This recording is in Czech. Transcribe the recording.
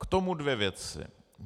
K tomu dvě věci.